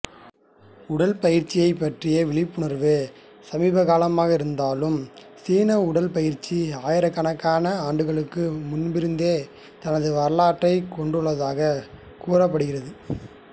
உடற்பயிற்சியைப் பற்றிய விழிப்புணர்வு சமீபகாலமாக இருந்தாலும் சீன உடற்பயிற்சி ஆயிரக்கணக்கான ஆண்டுகளுக்கு முன்பிருந்தே தனது வரலாற்றைக் கொண்டுள்ளதாகக் கூறப்படுகிறது